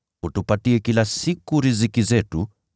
Utupatie kila siku riziki yetu.